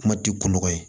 Kuma ti ko nɔgɔ ye